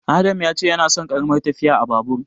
Adam ya ce yana son ƙaramar tafiya a Babur.